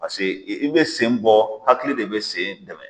Paseke i bɛ sen bɔ hakili de bɛ sen dɛmɛ.